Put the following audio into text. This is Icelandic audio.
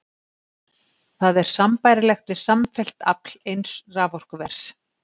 Það er sambærilegt við samfellt afl eins raforkuvers.